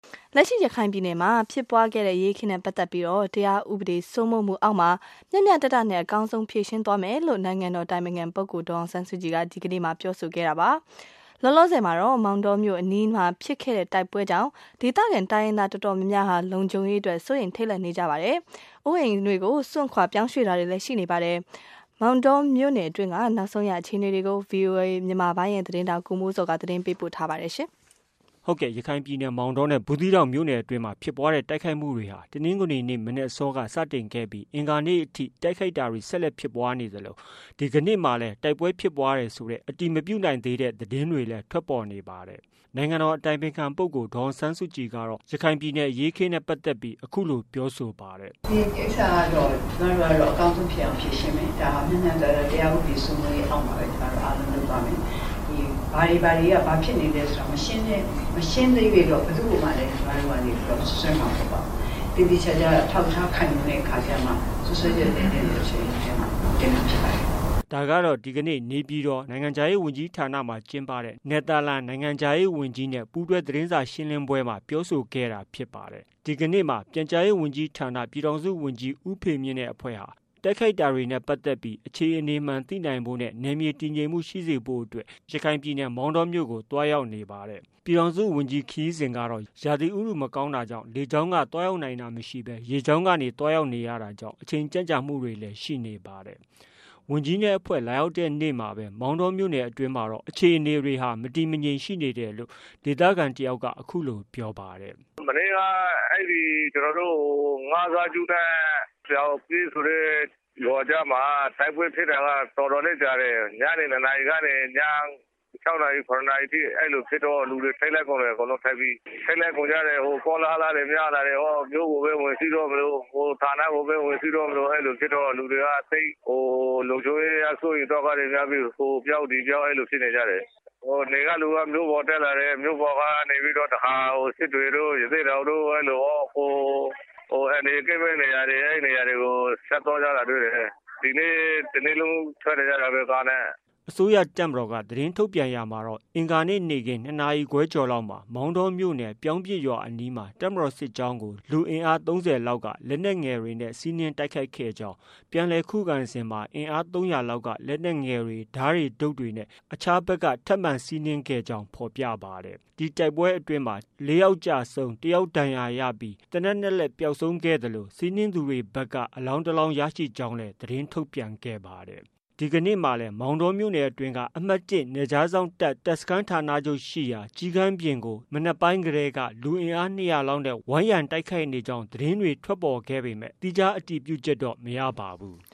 လက်ရှိ ရခိုင်ပြည်နယ်မှာ ဖြစ်ပွားခဲ့တဲ့အရေးအခင်းနဲ့ပတ်သက်ပြီး တရားဥပဒေစိုးမိုးမှုအောက်မှာ မျှမျှတတနဲ့ အကောင်းဆုံးဖြေရှင်းသွားမယ်လို့ နိုင်ငံတော်အတိုင်ပင်ခံပုဂ္ဂိုလ် ဒေါ်အောင်ဆန်းစုကြည်က ဒီကနေ့ ပြောဆို ပါတယ်။ လောလောဆည်မှာတော့ မောင်တောမြို့ အနီးဖြစ်ပွားခဲ့တဲ့တိုက်ပွဲကြောင့် ဒေသခံတိုင်းရင်းသား အတော်များ များဟာ လုံခြုံရေး အတွက် စိုးရိမ်ထိတ်လန့်တာတွေဖြစ်နေပြီး အိုးအိမ်စွန့်ခွာပြောင်းရွှေ့တာတွေလည်း ရှိနေပါ တယ်။ မောင်တောမြို့နယ်အတွင်းက နောက်ဆုံးအခြေအနေတွေကို ဗွီအိုအေမြန်မာပိုင်းရဲ့သတင်းထောက် ကိုမိုးဇော်က တင်ပြထားပါတယ်။ ရခိုင်ပြည်နယ် မောင်တောနဲ့ ဘူးသီးတောင်မြို့နယ်အတွင်းဖြစ်ပွားတဲ့ တိုက်ခိုက်မှုတွေဟာ တနင်္ဂနွေနေ့ မနက်အစောက စတင်ဖြစ်ပွားပြီး အင်္ဂါနေ့အထိ တိုက်ခိုက်တာတွေ ဆက်လက်ဖြစ်ပွားနေသလို ဒီကနေ့မှာလည်း တိုက်ပွဲဖြစ်ပွားနေတယ်ဆိုတဲ့ အတည်မပြုနိုင်သေးတဲ့ သတင်းတွေလည်း ထွက်ပေါ်နေပါတယ်။ နိုင်ငံတော်အတိုင်ပင်ခံပုဂ္ဂိုလ် ဒေါ်အောင်ဆန်းစုကြည်က ရခိုင်ပြည်နယ်အရေးအခင်းနဲ့ပတ်သက်ပြီးအခုလို ပြောဆိုပါတယ်။ “ဒီကိစ္စကတော့ ကျမတို့ကတော့ အကောင်းဆုံး ဖြစ်အောင် ဖြေရှင်းမယ်။ ဒါက မျှမျှတတ တရားဥပဒေ စိုးမိုးရေးအောက်မှာပဲ ကျမတို့အားလုံးလုပ်သွားမယ်။ ဘာတွေ ဘာတွေမှာ ဘာဖြစ်နေလဲဆိုတာ မရှင်းသ၍တော့ ဘယ်သူ့ကိုမှ ကျမတု့ိ စွပ်စွဲမှာမဟုတ်ဘူး။ သေသေချာချာ အထောက်အထား ခိုင်လုံမှ စွပ်စွဲချက် တင်သင့်ရင် တင်မှာဖြစ်ပါတယ်။” ဒီကနေ့ နေပြည်တော် နိုင်ငံခြားရေး ဝန်ကြီးဌာနမှာ ကျင်းပတဲ့ နယ်သာလန် နိုင်ငံခြားရေး ဝန်ကြီးနဲ့ ပူးတွဲသတင်းစာ ရှင်းလင်းပွဲ မှာ ပြောဆိုခဲ့တာဖြစ်ပါတယ်။ ဒီကနေ့မှာတော့ ပြန်ကြားရေးဝန်ကြီးဌာန ပြည်ထောင်စုဝန်ကြီးဦးဖေမြင့်နဲ့ အဖွဲ့ဟာ တိုက်ခိုက်တာနဲ့ ပတ်သက်ပြီး အခြေအနေမှန်သိနိုင်ဖို့နဲ့ နယ်မြေတည်ငြိမ်မှုရှိစေဖို့ အတွက် ရခိုင်ပြည်နယ်မောင်တောမြိုု့ကို သွားရောက်လေ့လာနေပါတယ်။ ပြည်ထောင်စုဝန်ကြီးခရီးစဉ်ကတော့ ရာသီဥတု မကောင်းတာကြောင့် လေကြောင်းက သွားရောက်နိုင်တာမရှိဘဲ ရေလမ်းကသွားရောက်ရတာကြောင့် အချိန်ကြန့်ကြာမှုတွေလည်း ရှိနေပါတယ်။ ဝန်ကြီးနဲ့ အဖွဲ့ လာရောက်တဲ့နေ့မှာပဲ မောင်တောမြို့နယ်အတွင်းမှာတော့ အခြေအနေတွေက မတည်မငြိမ်ရှိနေတယ်လို့ ဒေသခံတဦးက အခုလို ပြောပါတယ်။ “မနေ့က အဲဒီ ပြောင်းပစ်ကျေးရွာမှာ တိုက်ပွဲဖြစ်တာက တော်တော်လေးကြာတယ်။ ညနေ ၂ နာရီကနေ ည ၆ နာရီ ၇ နာရီထိ အဲလိုဖြစ်တော့ လူတွေထိန့်လန့်ကုန်တယ်။ ထိန့်လန့်ကုန်တယ် ကောလဟာလတွေများတာတွေရော ဟိုဌာနကိုပဲ ဝင်စီးတော့မလို အဲလိုတွေဖြစ်တော့ လူတွေက သိပ်ပြီးတော့ လုံခြုံရေး စိုးရိမ်သောကတွေများပြီး ဟိုပြောင်းဒီပြောင်း ဖြစ်နေကြတယ်။ နယ်ကလူက မြို့ပေါ်တက်လာတယ်၊ မြို့ပေါ်ကတခါ စစ်တွေတို့၊ ရသေ့တောင်တို့ အဲဒီလို အန္တရာယ်ကင်းမယ့်နေရာတွေကို ဆက်သွားကြတာတွေ့တယ်။ ဒီနေ့တနေ့လုံးကားနဲ့ ထွက်နေကြတာပဲ။” အစိုးရတပ်မတော်က သတင်းထုတ်ပြန်ရာမှာတော့ အင်္ဂါနေ့ နေ့ခင်း ၂နာရီခွဲကျော်လောက်မှာ မောင်တောမြို့နယ် ပြောင်းပစ်ရွာအနီးမှာ တပ်မတော်စစ်ကြောင်းကို လူအင်အား၃၀လောက်က လက်နက်ငယ်တွေနဲ့ စီးနင်းတိုက်ခိုက်ခဲ့ကြောင်း၊ ပြန်လည်ခုခံစဉ်မှာ အင်အား၃၀၀လောက်က လက်နက်ငယ်တွေ၊ ဓားတွေတုတ်တွေနဲ့ အခြားဖက်က ထပ်မံတိုက်ခိုက်ကြောင်း ဖော်ပြပါတယ်။ ဒီတိုက်ပွဲအတွင်းမှာ တပ်မတော်က ၄ယောက်ကျဆုံး၊ တယောက်ဒဏ်ရာရပြီး သေနတ်၂လက်ပျောက်ဆုံးပြီး စီးနင်တိုက်ခိုက်သူဖက်က အလောင်းတလောင်းရကြောင်း သတင်းထုတ်ပြန်ခဲ့ပါတယ်။ ဒီကနေ့မှာလည်း အမှတ် ၁ နယ်ခြားစောင့် တပ်စခန်းဌာနချုပ်ရှိရာ ကျီးကန်းပြင်ကို ဒီကနေ့မနက်ပိုင်းက လူအင်အား ၂၀၀လောက်နဲ့ ဝိုင်းရံတိုက်ခိုက်ကြောင်း သတင်းတွေထွက်ပေါ်ခဲ့ပေမဲ့ သီးခြားအတည်ပြုချက်တော့ မရပါဘူး။